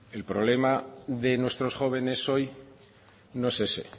el problema de nuestros jóvenes hoy no es ese